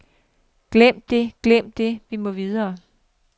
Glem det, glem det, vi må videre.